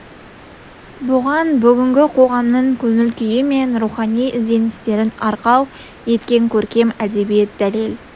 бұған бүгінгі қоғамның көңіл-күйі мен рухани ізденістерін арқау еткен көркем әдебиет дәлел